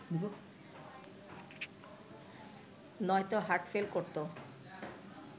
নয়তো হার্টফেল করত